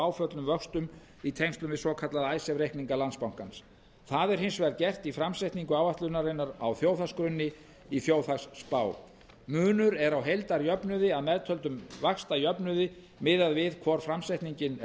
áföllnum vöxtum í tengslum við svokallaða icesave reikninga landsbankans það er hins vegar gert í framsetningu áætlunarinnar á þjóðhagsgrunni í þjóðhagsspá munur er á heildarjöfnuði að meðtöldum vaxtajöfnuði miðað við hvor framsetningin er